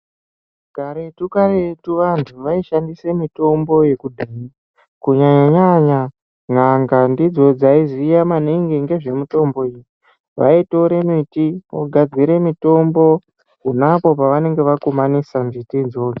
Karetu karetu vantu vaishandisa mitombo yekudhaya kunyanyanyanya n'anga ndidzo dzaiziva maningi nezvemitombo iyi vaitora miti vogadzira mitombo pona apo pavanenge vakumanisa miti idzo.